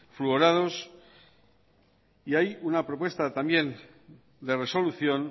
fluorados y hay una propuesta también de resolución